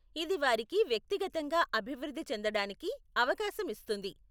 ఇది వారికి వ్యక్తిగతంగా అభివృద్ధి చెందడానికి అవకాశం ఇస్తుంది.